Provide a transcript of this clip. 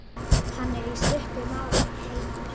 Hann er, í stuttu máli, heitur.